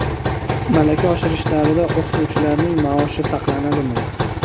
Malaka oshirish davrida o‘qituvchilarning maoshi saqlanadimi?.